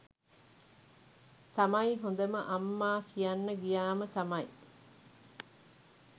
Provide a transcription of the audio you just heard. තමයි හොඳම අම්මා කියන්න ගියාම තමයි